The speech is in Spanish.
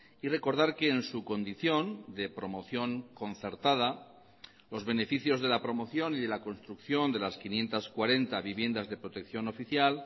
y recordar que en su condición de promoción concertada los beneficios de la promoción y de la construcción de las quinientos cuarenta viviendas de protección oficial